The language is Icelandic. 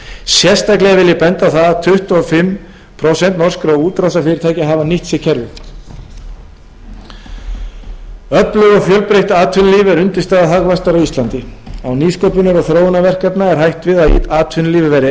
sérstaklega vil ég benda á það að tuttugu og fimm prósent norskra útrásarfyrirtækja hafa nýtt sér kerfið öflugt og fjölbreytt atvinnulíf er undirstaða hagvaxtar á íslandi án nýsköpunar og þróunarverkefna er hætt við að atvinnulífið verði